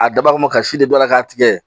A dabɔkun kama ka si de bila k'a tigɛ